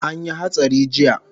Anyi hatsari jiya